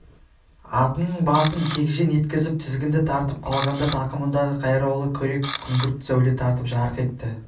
атының басын кегжең еткізіп тізгінді тартып қалғанда тақымындағы қайраулы күрек күңгірт сәуле тартып жарқ етті